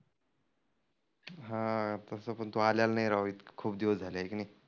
तसं पण तु आलेला नाही राव खुप दिवस झाले हाय की नाई.